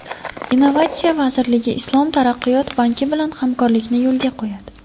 Innovatsiya vazirligi Islom taraqqiyot banki bilan hamkorlikni yo‘lga qo‘yadi.